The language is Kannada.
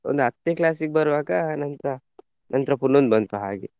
ಒಂದು ಹತ್ನೇ class ಗೆ ಬರುವಾಗ ನಂತ್ರ ನಂತ್ರ ಪುನ್ನೊಂದು ಬಂತು ಹಾಗೆ.